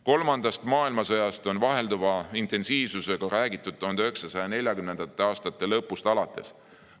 Kolmandast maailmasõjast on vahelduva intensiivsusega räägitud 1940. aastate lõpust alates.